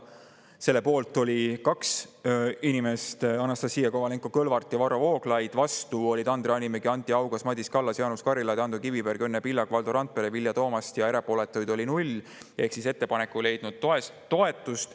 Selle poolt oli 2 inimest, Anastassia Kovalenko-Kõlvart ja Varro Vooglaid, vastu olid Andre Hanimägi, Anti Haugas, Madis Kallas, Jaanus Karilaid, Ando Kiviberg, Õnne Pillak, Valdo Randpere, Vilja Toomast, ja erapooletuid oli 0, ehk ettepanek ei leidnud toetust.